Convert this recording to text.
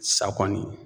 Sa kɔni